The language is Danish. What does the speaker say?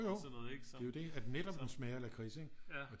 Jo jo det er jo det at netop den smager af lakrids ikke